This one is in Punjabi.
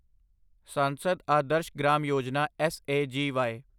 ਸਾਂਸਦ ਆਦਰਸ਼ ਗ੍ਰਾਮ ਯੋਜਨਾ ਐੱਸਏਜੀਵਾਈ